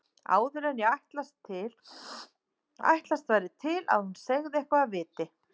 Áður en ætlast væri til að hún segði eitthvað af viti.